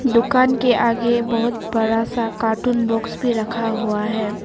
दुकान के आगे बहोत बड़ा सा कार्टून बॉक्स भी रखा हुआ है।